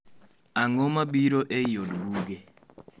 Ang'o mabiro eiy od buge?